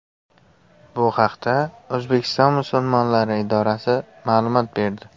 Bu haqda O‘zbekiston musulmonlari idorasi ma’lumot berdi .